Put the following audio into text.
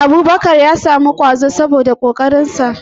Abubakar ya samu yabo saboda kwazonsa